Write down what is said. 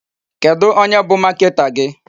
Kedụ onye bụ marketer gị?